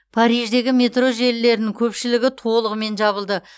париждегі метро желілерінің көпшілігі толығымен жабылды